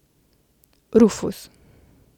Rufus.